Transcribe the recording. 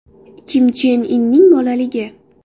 Kim Chen Inning bolaligi.